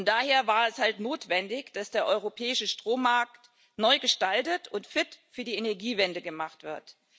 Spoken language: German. Daher war es halt notwendig, dass der europäische Strommarkt neu gestaltet und fit für die Energiewende gemacht wird.